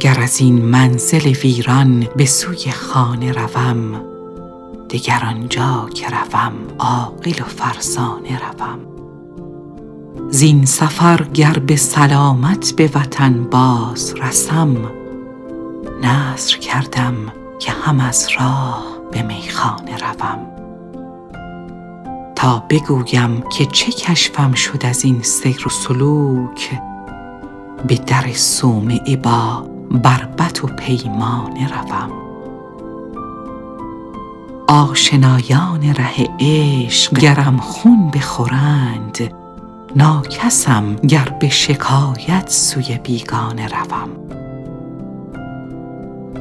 گر از این منزل ویران به سوی خانه روم دگر آنجا که روم عاقل و فرزانه روم زین سفر گر به سلامت به وطن باز رسم نذر کردم که هم از راه به میخانه روم تا بگویم که چه کشفم شد از این سیر و سلوک به در صومعه با بربط و پیمانه روم آشنایان ره عشق گرم خون بخورند ناکسم گر به شکایت سوی بیگانه روم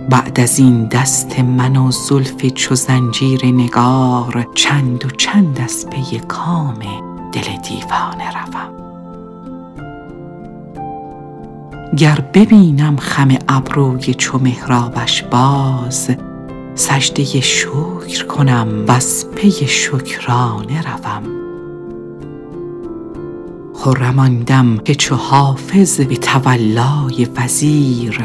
بعد از این دست من و زلف چو زنجیر نگار چند و چند از پی کام دل دیوانه روم گر ببینم خم ابروی چو محرابش باز سجده شکر کنم و از پی شکرانه روم خرم آن دم که چو حافظ به تولای وزیر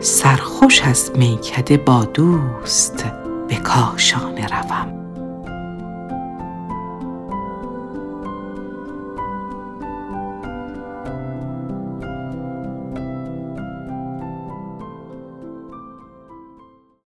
سرخوش از میکده با دوست به کاشانه روم